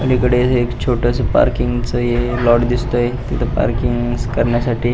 पलीकडे एक छोटस पार्किंग च प्लॉट दिसतय तिथे पार्किंग करण्यासाठी --